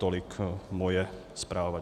Tolik moje zpráva.